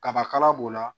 Kaba kala b'o la